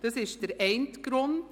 Das ist der eine Grund.